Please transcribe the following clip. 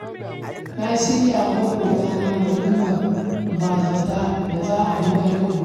Na shirya wa maƙwabtana walimar ba-zata da za a gudanar gobe